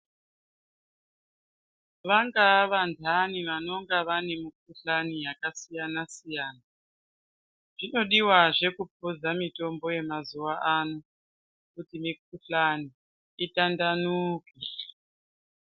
Vangaa vantani vanonga vane mikhuhlani yakasiyanasiyana zvinodiwazve kupuza mitombo yemazuwa ano kuti mikhuhlani itandanuke.